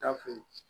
Taa fɛ